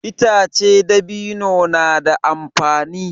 Itace dabino na da amfani.